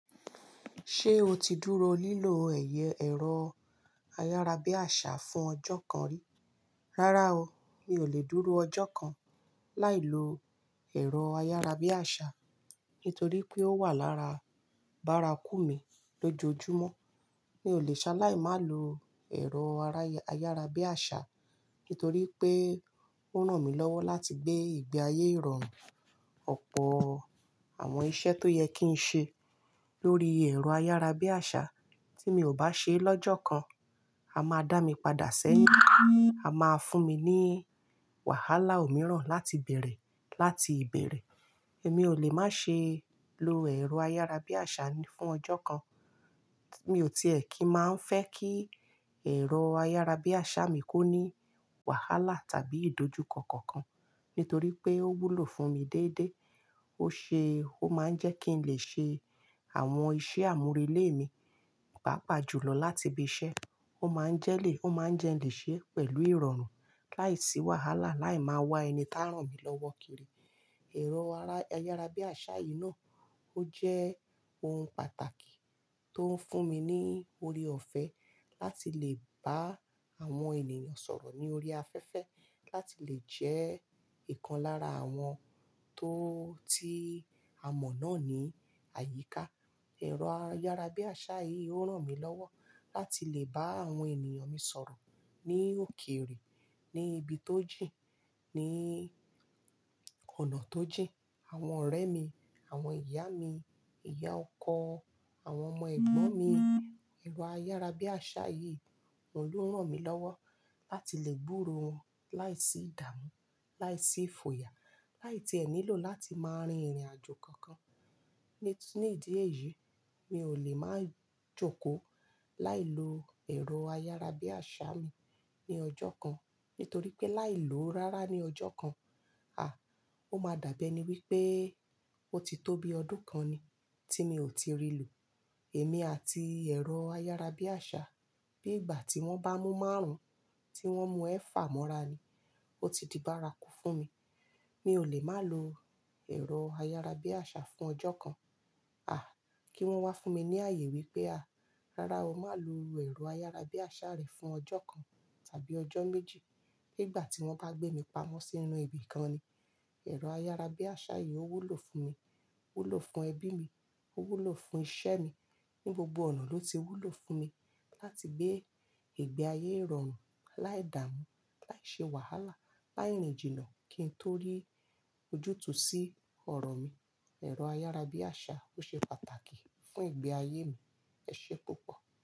Ṣé o ti dúró lílọ ẹ̀yẹ ẹ̀rọ ayárabíàṣà fún ọjọ́ kan rí? Rárá o, mi ò lè dúró ọjọ́ kan láì lo ẹ̀rọ ayárabíàṣà nítorí pé ó wà lára bárakú mi lójoojúmọ́. Mi ò lè ṣaláì máa lo ẹ̀rọ ayárabíàṣà nítorí pé ó ràn mí lọ́wọ́ láti gbé ìgbé ayé ìrọ̀rùn, ọ̀pọ̀ àwọn iṣẹ́ tó yẹ kí n ṣe lórí ẹ̀rọ ayárabíàṣà tí mi ò bá ṣe lọ́jọ́ kan, a máa dá mi padà sẹ́yìn, a máa fún mi ní wàhálà òmíràn láti bèèrè láti ìbẹ̀rẹ̀. Èmi ò lè má ṣe lo ẹ̀rọ ayárabíàṣà fún ọjọ́ kan. Mi ò tiẹ̀ kí máa ń fẹ́ kí ẹ̀rọ ayárabíàṣà mi kó ní wàhálà tàbí ìdójúkọ kankan nítorí pé ó wúlò fún mi déédé. Ó ṣe ó má ń jẹ́ kí n lè ṣe àwọn iṣẹ́ àmúrelé mi pàápàá jùlọ láti ibi iṣẹ́. Ó má ń jẹ́ lè, ó má ń jẹ́ n lè ṣe pẹ̀lú ìrọ̀rùn láìsí wàhálà, láì máa wa ẹni tá ràn mí lọ́wọ́ kiri. Ẹ̀rọ ayárabíàṣà yìí náà ó jẹ́ ohun pàtàkì tó ń fún mi ní orí ọ̀fẹ́ láti lè bá àwọn ènìyàn sọ̀rọ̀ ní orí afẹ́fẹ́, láti lè jẹ́ ìkan lára àwọn tó ti a mọ̀ náà ní àyíká. Ẹ̀rọ ayárabíàṣà yìí ó ràn mí lọ́wọ́ láti lè bá àwọn ènìyàn mi sọ̀rọ̀ ní òkèrè, ní ibi tó jìn, ní ọ̀nà tó jìn. Àwọn ọ̀rẹ́ mi, àwọn ìyá mi, ìyá ọkọ, àwọn ọmọ ẹ̀gbọ́n mi, ẹ̀rọ ayárabíàṣà yìí ni òun ló ń ràn mí lọ́wọ́ láti lè gburo wọn láìsí ìdààmú, láìsí ifoya láì tí ẹ nílò láti máa rin ìrìnàjò kankan. Ni ìdí èyí, mi ò lè máa jókòó láì lo ẹ̀rọ ayárabíàṣà mi ní ọjọ́ kan, nítorí pé láì lo ó rárá ní ọjọ́ kan, à, ó máa dàbi e ni wípé ó ti tó bi ọdún kan ni tí mi ò ti rí lo. Èmi àti ẹ̀rọ ayárabíàṣà, bí ìgbà tí wón bá mú márùn-ún, tí wón mú ẹfà mọ́ra ni, ó ti di bárakú fún mi. Mi ò lè máa lo ẹ̀rọ ayárabíàṣà fún ọjọ́ kan, à, kí wọ́n wá fún mi ní ààyè wípé, à, rárá o, má lò ẹ̀rọ ayárabíàṣà rẹ fún ọjọ́ kan tàbí ọjọ́ méjì. Bí ìgbà tí wọ́n bá gbé mi pamọ́ sínú ibi kan ni, ẹ̀rọ ayárabíàṣà yìí ó wúlò fún mi, ó wúlò fún ẹbí mi, ó wúlò fún iṣẹ́ mi, ní gbogbo ọ̀nà ló ti wúlò fún mi láti gbé ìgbé ayé ìrọ̀rùn láìdààmú, láìṣe wàhálà, láì rin jìnnà, kí n torí ojútùú sí ọ̀rọ̀ mi. Ẹ̀rọ ayárabíàṣà ó ṣe pàtàkì fún ìgbé ayé mi. Ẹ ṣé púpọ̀.